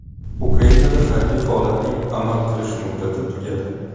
Ukrainada harbiy holatning amal qilish muddati tugadi.